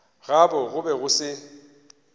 gabo go be go se